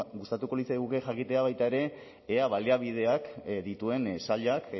gustatuko litzaiguke jakitea baita ere ea baliabideak dituen sailak